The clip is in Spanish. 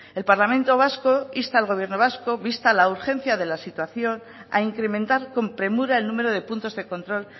el parlamento vasco insta al gobierno vasco vista la urgencia de la situación a incrementar con premura el número de puntos de control